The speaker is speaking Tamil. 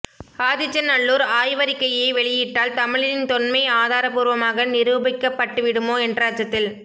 ஆதிச்சநல்லூர் ஆய்வறிக்கையை வெளியிட்டால் தமிழனின் தொன்மை ஆதாரப்பூர்வமாக நிரூபிக்கப்பட்டுவிடுமோ என்ற அச்சத்தில்